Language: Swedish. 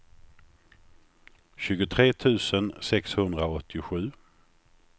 tjugotre tusen sexhundraåttiosju